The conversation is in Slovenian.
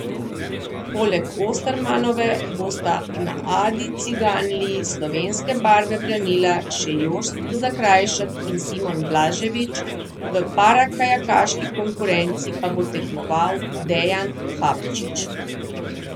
Poleg Ostermanove bosta na Adi Ciganliji slovenske barve branila še Jošt Zakrajšek in Simon Blaževič, v parakajakaški konkurenci pa bo tekmoval Dejan Fabčič.